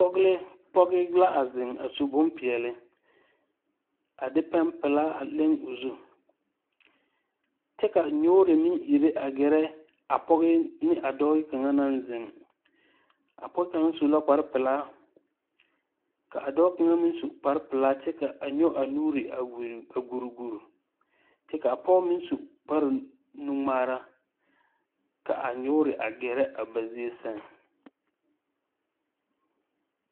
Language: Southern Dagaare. Pɔɡe la a zeŋ a su bompeɛle a de pɛmpelaa a leŋ o zu kyɛ ka nyuure meŋ ire ɡɛrɛ a dɔɔ ne a pɔɡe naŋ zeŋ a pɔɡe kaŋ su la kparpelaa ka a dɔɔ kaŋ meŋ su a kparpelaa kyɛ nyɔɡe a nuuri a ɡuriɡuri kyɛ ka a pɔɡe meŋ su kparnuŋmaara ka a nyuure a ɡɛrɛ a ba zie sɛŋ.